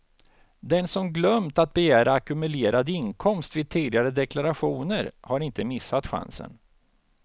Den som glömt att begära ackumulerad inkomst vid tidigare deklarationer har inte missat chansen.